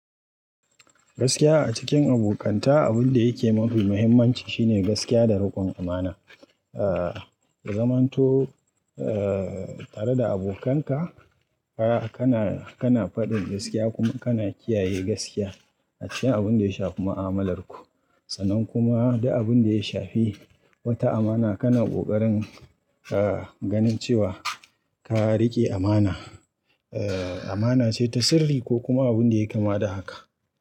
Gaskiya a cikin abokanta, abin da yake mafi muhimmanci shine gaskiya da riƙon amana. Aaa zamanto eee tare da abokanka, fara kana, kana faɗin gaskiya kuma kana kiyaye gaskiya a cikin abin da ya shafi ma'amalarku. Sannan kuma duk abin da ya shafi wata amana, kana ƙoƙarin ganin cewa ka riƙe amana. Eee amana ce ta sirri ko kuma abin da yayi kama da haka.